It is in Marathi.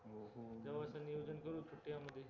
जवळचं नियोजन करू सुट्ट्यामधी